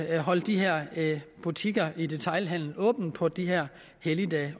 at holde de her butikker i detailhandelen åben også på de her helligdage